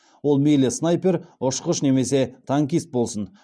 ол мейлі снайпер ұшқыш немесе танкист болсын